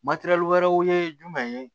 wɛrɛw ye jumɛn ye